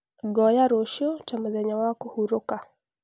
ngoya rũciũ ta mũthenya wa kũhurũka